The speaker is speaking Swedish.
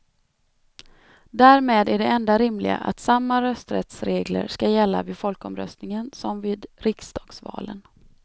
Därmed är det enda rimliga att samma rösträttsregler skall gälla vid folkomröstningen som vid riksdagsvalen.